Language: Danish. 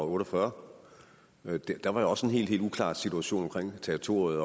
otte og fyrre der var også en helt helt uklar situation omkring territoriet